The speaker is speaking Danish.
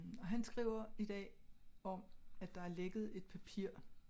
Og han skriver i dag om at der har lægget et papir